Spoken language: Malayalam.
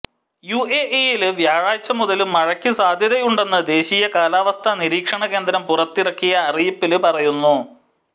യുഎഇയില് വ്യാഴാഴ്ച മുതല് മഴയ്ക്ക് സാധ്യതയുണ്ടെന്ന് ദേശീയ കാലാവസ്ഥാ നിരീക്ഷണ കേന്ദ്രം പുറത്തിറക്കിയ അറിയിപ്പില് പറയുന്നു